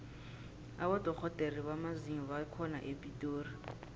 abodorhodere bamazinyo bakhona epitori